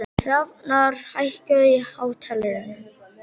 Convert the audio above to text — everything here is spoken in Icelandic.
Hrafnar, hækkaðu í hátalaranum.